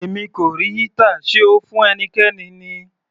Èmi kò rí heater, sé O fún ẹnikẹ́ni ni?